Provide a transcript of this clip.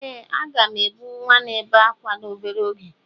Ee, a ga m ebu nwa na-ebe ákwá n'obere oge.